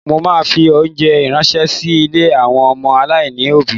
Mo ma fi óńjẹ ránṣẹ́ sí ilé àwọn ọmọ aláìní òbí.